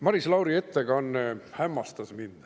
Maris Lauri ettekanne hämmastas mind.